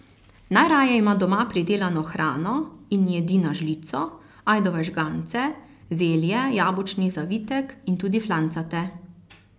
Najraje ima doma pridelano hrano in jedi na žlico, ajdove žgance, zelje, jabolčni zavitek in tudi flancate.